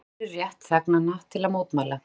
Virða beri rétt þegnanna til mótmæla